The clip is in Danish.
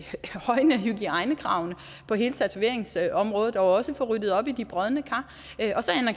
højne hygiejnekravene på hele tatoveringsområdet og også få ryddet op i de brodne kar